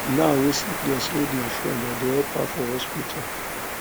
now wey sickness hold my friend i dey help her for hospital